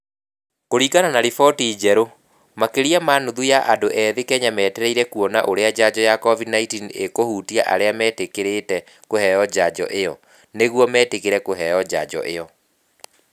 Kũringana na riboti njerũ, makĩria ma nuthu ya andũ ethĩ Kenya metereire kuona ũrĩa njanjo ya covid-19 ĩkũhutia arĩa metĩkĩrĩte kũheo njanjo ĩo, nĩguo metikĩre kũheo njanjo ĩo.